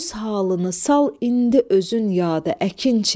Öz halını sal indi özün yada, əkinçi.